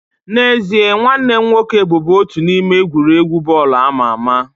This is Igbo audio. N'ezie, nwanne m nwoke bụbu otu n'ime egwuregwu bọọlụ ama ama